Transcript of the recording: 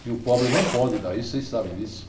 Que o pobre não pode dar isso, vocês sabem disso.